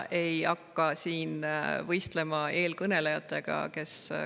Ei hakka siin võistlema eelkõnelejatega.